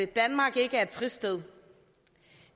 danmark ikke er et fristed